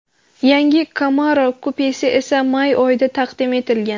Yangi Camaro kupesi esa may oyida taqdim etilgan .